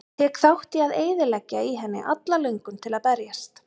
Tek þátt í að eyðileggja í henni alla löngun til að berjast.